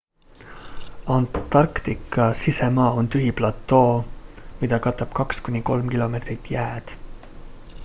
antarktika sisemaa on tühi platoo mida katab 2-3 km jääd